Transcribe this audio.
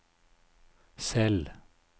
Sel